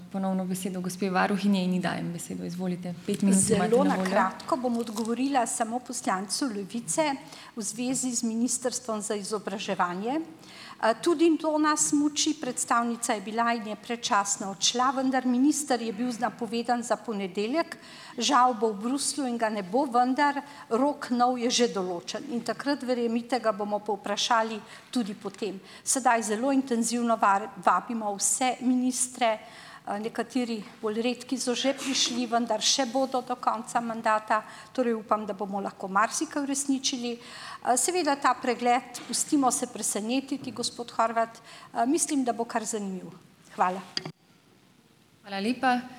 bom odgovorila samo poslancu Levice v zvezi z ministrstvom za izobraževanje. Tudi to nas muči. Predstavnica je bila in je predčasno odšla, vendar minister je bil napovedan za ponedeljek. Žal bo v Bruslju in ga ne bo, vendar rok nov je že določen. In takrat, verjemite, ga bomo povprašali tudi po tem. Sedaj zelo intenzivno vabimo vse ministre, nekateri, bolj redki, so že prišli, vendar še bodo do konca mandata, torej upam, da bomo lahko marsikaj uresničili. Seveda ta pregled, pustimo se presenetiti, gospod Horvat, mislim, da bo kar zanimivo. Hvala.